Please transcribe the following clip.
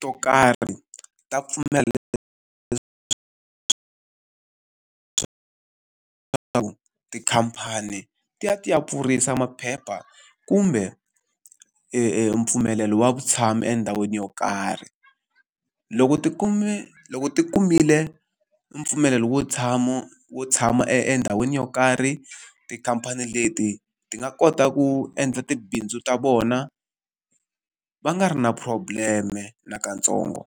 to karhi ta pfumela ku tikhamphani ti ya ti ya pfurisa maphepha, kumbe mpfumelelo wa vutshamo endhawini yo karhi. Loko ti kume loko ti kumile mpfumelelo wo wo tshama endhawini yo karhi, tikhamphani leti ti nga kota ku endla tibindzu ta vona va nga ri na problem-e nakantsongo.